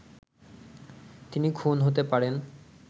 তিনি খুন হতে পারেন